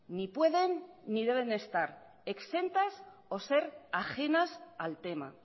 ni pueden ni deben de estar exentas o ser ajenas al tema